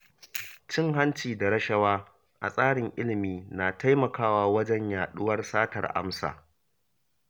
Cin hanci da rashawa a tsarin ilimi na taimakawa wajen yaɗuwar satar amsa.